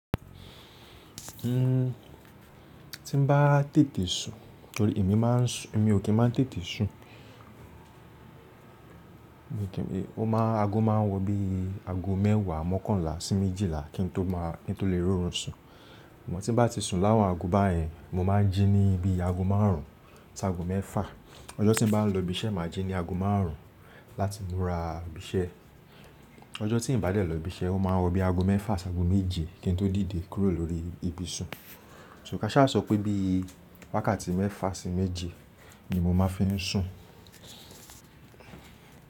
Ti n bá tètè sun torí èmi máa n sùn, èmi ò kí n máa tètè sun. Ó máa-- ago máa wọ bí i ago mẹ́wàá, mọ́kànlá sí méjìlá kí n tó máa-- kí n tó lè rí orun sun. Mo ti bá ti sun láwọn ago báyẹn mo máa jí níbi ago márùn-ún sí ago mẹ́fà. Ọjọ́ tí n bá lọ ibi iṣẹ́ màá jí ní ago márùn-ún láti múra ibi iṣẹ́. Ọjọ́ tí n bá dé lọ ibi iṣẹ́ ó máa wọ bí i ago mẹ́fà sí ago méje kí n tó dìde kúrò lórí ibuṣun. So ká ṣhá sọ pé bí i wákàtí mẹ́fà sí méje ni mo máa fi ń sùn.